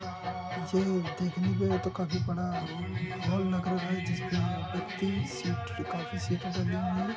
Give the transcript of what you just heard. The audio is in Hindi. ये देखने में तो काफी बड़ा हॉल लग रहा है जिसमे व्यक्ति काफी